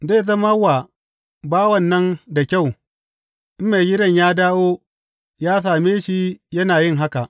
Zai zama wa bawan nan da kyau in maigidan ya dawo ya same shi yana yin haka.